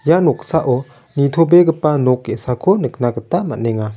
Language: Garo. ia noksao nitobegipa nok ge·sako nikna gita man·enga.